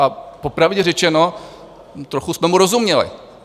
A popravdě řečeno, trochu jsme mu rozuměli.